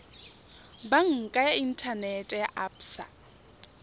banka ya inthanete ya absa